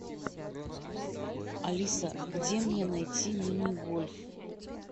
алиса где мне найти мини гольф